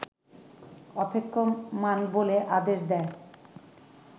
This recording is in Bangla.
অপেক্ষমাণ বলে আদেশ দেয়